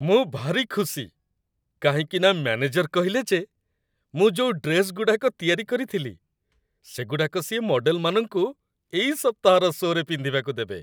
ମୁଁ ଭାରି ଖୁସି, କାହିଁକିନା ମ୍ୟାନେଜର କହିଲେ ଯେ ମୁଁ ଯୋଉ ଡ୍ରେସ୍‌ଗୁଡ଼ାକ ତିଆରି କରିଥିଲି, ସେଗୁଡ଼ାକ ସିଏ ମଡ଼େଲମାନଙ୍କୁ ଏଇ ସପ୍ତାହର ଶୋ'ରେ ପିନ୍ଧିବାକୁ ଦେବେ ।